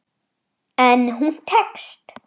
En hún tekst.